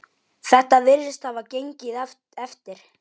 Þetta virðist hafa gengið eftir.